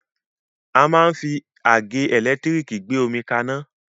A máa ń fi àgẹ́ ẹ̀lẹ́tírìkì gbé omi kaná.